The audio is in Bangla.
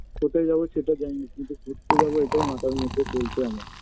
কোথায় যাবো সেটা জানিনা কিন্তু ঘুরতে যাবো এটাই মাথার মধ্যে চলছে আমার